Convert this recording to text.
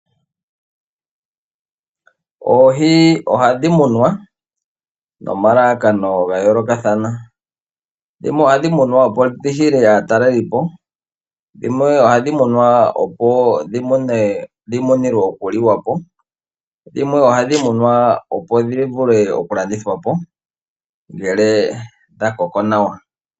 Oohi ohadhi munwa nomalalakano ga yoolokathana, dhimwe ohadhi munwa opo dhi hile aatalelipo . dhimwe ohadhi munwa opo dhivule okuliwapo dhimwe ohadhi munwa opo dhivule oku landithwapo ngele dha koko nawa.